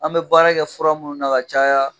An bɛ baara kɛ fura minnu na ka caya